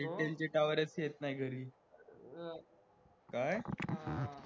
काहीकाहींचे tower च येत नी घरी, काय